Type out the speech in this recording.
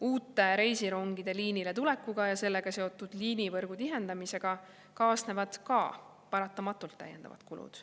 Uute reisirongide liinile tulekuga ja sellega seotud liinivõrgu tihendamisega kaasnevad paratamatult täiendavad kulud.